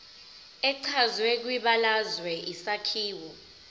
echazwe kwibalazwe isakhiwo